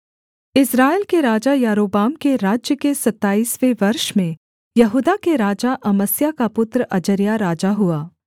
इस्राएल के राजा यारोबाम के राज्य के सताईसवें वर्ष में यहूदा के राजा अमस्याह का पुत्र अजर्याह राजा हुआ